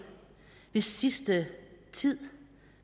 hvis sidste tid